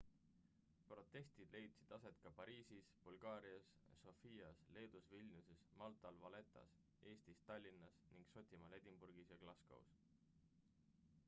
protestid leidsid aset ka pariisis bulgaarias sofias leedus vilniuses maltal valettas eestis tallinnas ning šotimaal edinburgis ja glascows